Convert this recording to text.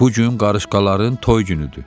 Bu gün qarışqaların toy günüdür.